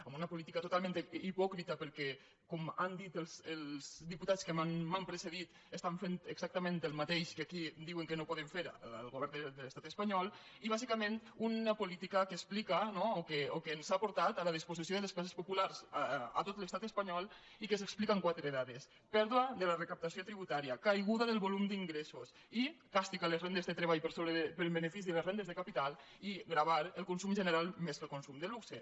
amb una política totalment hipòcrita perquè com han dit els diputats que m’han precedit estan fent exactament el mateix que aquí diuen que no poden fer al govern de l’estat espanyol i bàsica·ment una política que explica no o que ens ha portat a la disposició de les classes populars a tot l’estat es·panyol i que s’explica amb quatre dades pèrdua de la recaptació tributària caiguda del volum d’ingressos càstig a les rendes de treball en benefici de les rendes de capital i gravar el consum general més que el con·sum de luxe